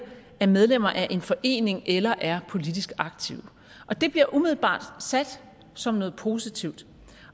er medlemmer af en forening eller er politisk aktive det bliver umiddelbart sat som noget positivt